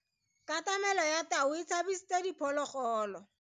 Katamelo ya tau e tshabisitse diphologolo.